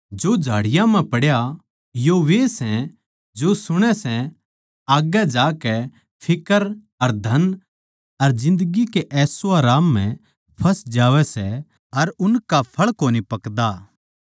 जो झाड़ियाँ म्ह पड्या यो वे सै जो सुणै सै पर आग्गै जाकै फिक्र अर धन अर जिन्दगी के अशआराम म्ह फँस जावैं सै अर उनका फळ कोनी पकदा